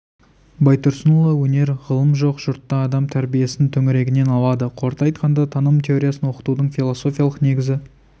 байтұрсынұлы өнер ғылым жоқ жұртта адам тәрбиесін төңірегінен алады қорыта айтқанда таным теориясын оқытудың философиялық негізі